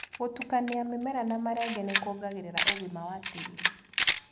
Gũtukania mĩmera na marenge nĩkuongagĩrĩra ũgima wa tĩri.